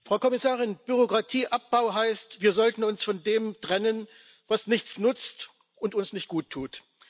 Herr Präsident, Frau Kommissarin! Bürokratieabbau heißt Wir sollten uns von dem trennen, was nichts nutzt und uns nicht guttut.